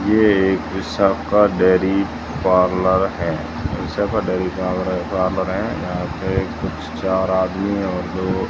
ये एक Vishakha dairy parlour है विशाखा डेयरी पार्लर है यहां पे एक चार आदमी और दो --